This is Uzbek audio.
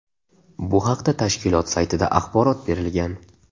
Bu haqda tashkilot saytida axborot berilgan .